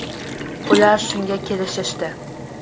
Ular shunga kelishishdi.